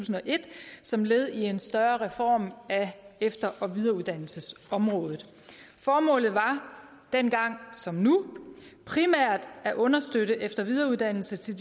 og et som led i en større reform af efter og videreuddannelsesområdet formålet var dengang som nu primært at understøtte efter og videreuddannelse til